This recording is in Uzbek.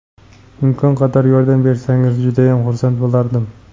Imkon qadar yordam bersangiz judayam xursand bo‘lardim.